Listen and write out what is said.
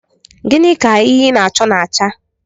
Gịnị ka ihe ị na-achọ na-acha?